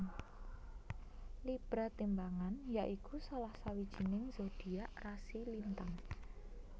Libra timbangan ya iku salah sawijining zodiak rasi lintang